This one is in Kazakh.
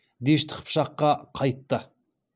дешті қыпшаққа қайтты